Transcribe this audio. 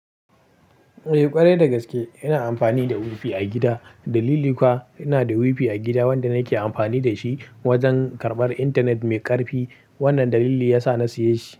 Eh ƙwarai dagaske ina amfani da wifi a gida. Dalili kuwa ina da wifi a gida wanda nake amfani da shi wajen karɓar intanet mai ƙarfi. Wannan dalili yasa na siye shi.